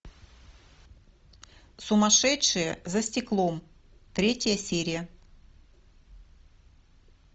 сумасшедшие за стеклом третья серия